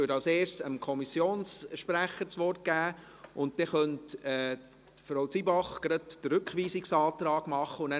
Ich würde als Erstes dem Kommissionssprecher das Wort geben, und dann könnte Frau Zybach gleich den Rückweisungsantrag begründen.